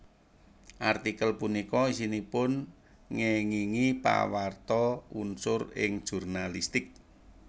Artikel punika isinipun ngéngingi Pawarta unsur ing jurnalistik